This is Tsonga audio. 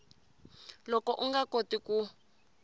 loko u nga koti ku